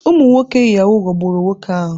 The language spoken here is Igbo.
Ụmụ nwoke Yahoo ghọgburu nwoke ahụ.